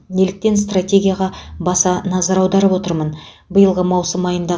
неліктен стратегияға баса назар аударып отырмын биылғы маусым айында